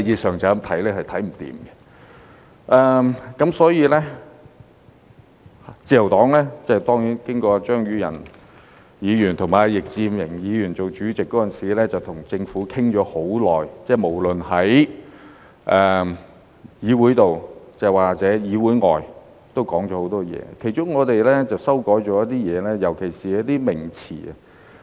所以，自由黨......當然，張宇人議員和易志明議員當法案委員會主席時，跟政府討論了很長時間，無論是議會內外，也說了很多，其中我們曾作出一些修改，尤其是一些名詞。